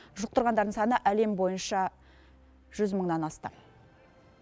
жұқтырғандардың саны әлем бойынша жүз мыңнан асты